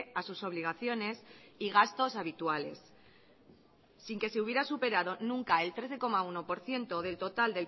a sus obligaciones y gastos habituales sin que se hubiera superado nunca el trece coma uno por ciento del total